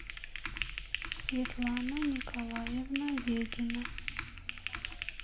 светлана николаевна ведина